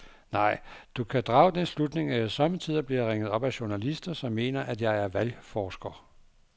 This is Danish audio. Nej, du kan drage den slutning, at jeg sommetider bliver ringet op af journalister, som mener, at jeg er valgforsker.